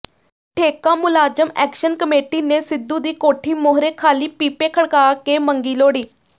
ਠੇਕਾ ਮੁਲਾਜ਼ਮ action committee ਨੇ ਸਿੱਧੂ ਦੀ ਕੋਠੀ ਮੂਹਰੇ ਖਾਲੀ ਪੀਪੇ ਖੜਕਾ ਕੇ ਮੰਗੀ ਲੋਹੜੀ